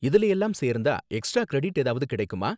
இதுல எல்லாம் சேர்ந்தா எக்ஸ்ட்ரா கிரெடிட் ஏதாவது கிடைக்குமா?